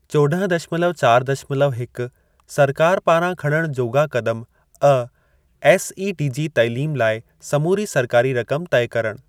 चौदह दशमलव चार दशमलव हिक सरकार पारां खणण जोॻा क़दम-(अ) एसईडीजी तइलीम लाइ समूरी सरकारी रक़म तइ करणु।